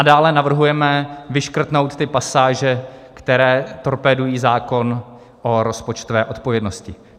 A dále navrhujeme vyškrtnout ty pasáže, které torpédují zákon o rozpočtové odpovědnosti.